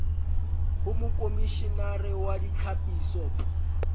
ho mokomishenare wa ditlhapiso p